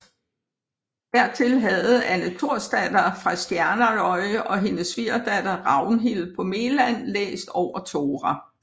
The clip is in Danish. Dertil havde Anne Torsdatter fra Sjernarøy og hennes svigerdatter Ragnhild på Meland læst over Tora